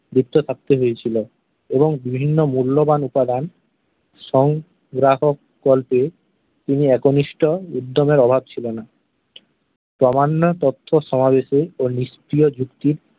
যুক্ত থাকতে হয়েছিল এবং বিভিন্ন মুল্যবান উপাদান সংগ্রহকল্পে তিনি একনিষ্ট উদ্যমের অভাব ছিলো না। প্রামাণ্য তথ্য সমাবেশে ও নিশ্চয়-যুক্তি